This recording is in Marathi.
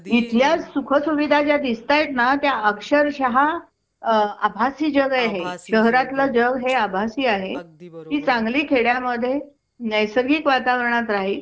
इथल्या सुखसुविधा ज्या दिसतायात ना त्या अक्षरशः अ आभासी जग आहे हे शहरातलं जग हे आभासी आहे ती चांगली खेड्यामध्ये नैसर्गिक वातावरणात राहिल